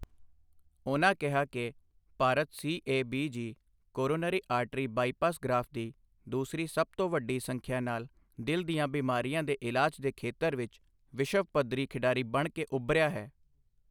ਉਨ੍ਹਾਂ ਕਿਹਾ ਕਿ Bharat C A B G coronary artery bypass graft ਦੀ ਦੂਸਰੀ ਸਭ ਤੋਂ ਵੱਡੀ ਸੰਖਿਆ ਨਾਲ ਦਿਲ ਦੀਆਂ ਬਿਮਾਰੀਆਂ ਦੇ ਇਲਾਜ ਦੇ ਖ਼ੇਤਰ ਵਿੱਚ ਵਿਸ਼ਵ ਪੱਧਰੀ ਖਿਡਾਰੀ ਬਣ ਕੇ ਉੱਭਰਿਆ ਹੈ।